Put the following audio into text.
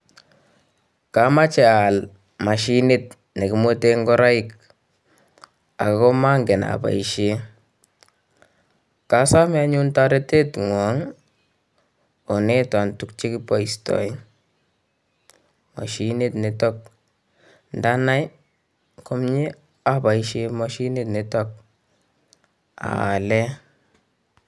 Kamache aal machinit nekimweten ngoroik akomangen apoishe, kasome anyun toretet ngwong onetan tukche kipoistoe machinit nitok ndanai komie apoishe machinit nitok, aale